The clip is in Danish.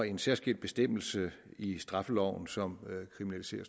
en særskilt bestemmelse i straffeloven som kriminaliserer